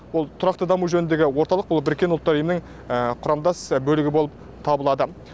ол тұрақты даму жөнінегі орталық ол біріккен ұлттар ұйымының құрамдас бөлігі болып табылады